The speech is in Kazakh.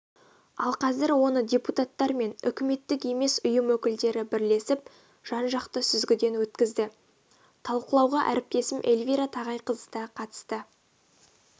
ал қазір оны депутаттар мен үкіметтік емес ұйым өкілдері бірлесіп жан жақты сүзгіден өткізді талқылауға әріптесім эльвира тағайқызы да қатысты